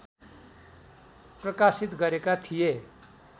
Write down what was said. प्रकाशित गरेका थिए